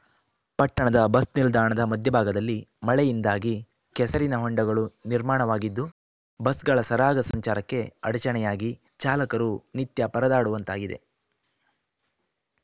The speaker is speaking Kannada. ಪಟ್ಟಣದ ಬಸ್‌ನಿಲ್ದಾಣದ ಮಧ್ಯಭಾಗದಲ್ಲಿ ಮಳೆಯಿಂದಾಗಿ ಕೆಸರಿನ ಹೊಂಡಗಳು ನಿರ್ಮಾಣವಾಗಿದ್ದು ಬಸ್‌ಗಳ ಸರಾಗ ಸಂಚಾರಕ್ಕೆ ಅಡಚಣೆಯಾಗಿ ಚಾಲಕರು ನಿತ್ಯ ಪರದಾಡುವಂತಾಗಿದೆ